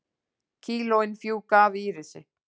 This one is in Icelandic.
Kílóin fjúka af Írisi